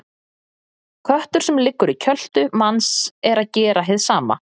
Köttur sem liggur í kjöltu manns er að gera hið sama.